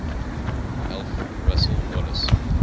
alfred russel wallace